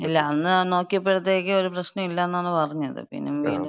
ഇല്ല, അന്ന് നോക്കിയപ്പഴത്തേക്ക് ഒരു പ്രശ്നോല്ലെന്നാണ് പറഞ്ഞത്. പിന്നെ വീണ്ടും.